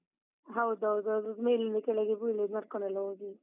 ಹೌದೌದೌದು, ಅದು ಮೇಲಿಂದ ಕೆಳಗೆ ಬೀಳುದು, ನಡ್ಕೊಂಡೆಲ್ಲ ಹೋಗಿ.